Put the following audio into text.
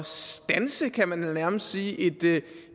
standse kan man vel nærmest sige et